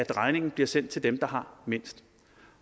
regningen bliver sendt til dem der har mindst